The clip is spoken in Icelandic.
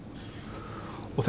og